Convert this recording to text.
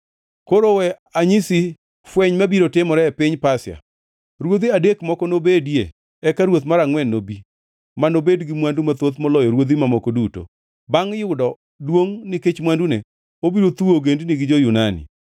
“Koro we anyisi fweny mabiro timore e piny Pasia: Ruodhi adek moko nobedie eka ruoth mar angʼwen nobi, ma nobed gi mwandu mathoth moloyo ruodhi mamoko duto. Bangʼ yudo duongʼ nikech mwandune, obiro thuwo ogendini gi jo-Yunani.